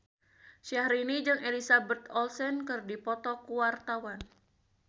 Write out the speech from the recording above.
Syahrini jeung Elizabeth Olsen keur dipoto ku wartawan